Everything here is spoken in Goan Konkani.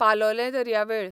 पालोलें दर्यावेळ